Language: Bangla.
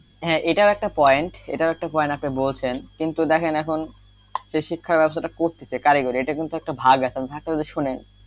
হ্যাঁ, এটাও একটা point এটাও একটা point আপনি বলছেন কিন্তু দেখেন এখন শিক্ষার ব্যবস্থা একটা করতেছে কারিগরি এটা কিন্তু একটা ভাগ আছে ভাগটা যদি শোনেন,